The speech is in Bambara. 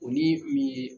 O ni min ye